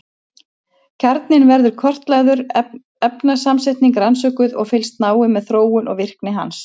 Kjarninn verður kortlagður, efnasamsetningin rannsökuð og fylgst náið með þróun og virkni hans.